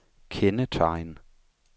kendetegn